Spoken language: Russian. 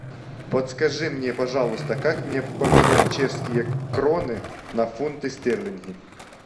подскажи мне пожалуйста как мне поменять чешские кроны на фунты стерлинги